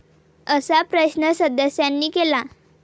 असा प्रश्न सदस्यांनी केला.